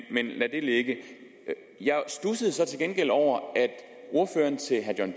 ligge jeg studsede så til gengæld over at ordføreren til herre john